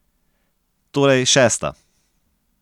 Torej šesta.